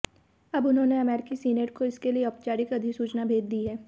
अब उन्होंने अमेरिकी सीनेट को इसके लिए औपचारिक अधिसूचना भेज दी है